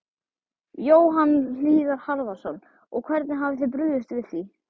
Jóhann Hlíðar Harðarson: Og hvernig hafið þið brugðist við því?